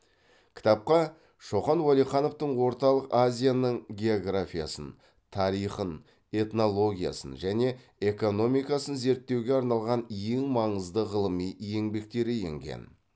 кітапқа шоқан уәлихановтың орталық азияның географиясын тарихын этнологиясын және экономикасын зерттеуге арналған ең маңызды ғылыми еңбектері енген